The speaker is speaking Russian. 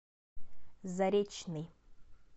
заречный